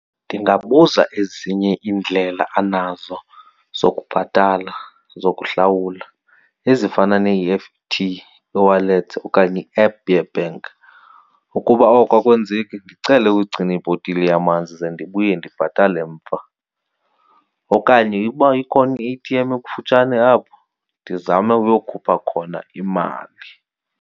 Ndingabuza ezinye iindlela anazo zokubhatala, zokuhlawula, ezifana ne-E_F_T, eWallet okanye i-app ye-bank. Ukuba oko akwenzeki ndicele ugcina ibhotile yamanzi ze ndibuye ndibhatale mva. Okanye uba ikhona i-A_T_M ekufutshane apho, ndizame uyokhupha imali.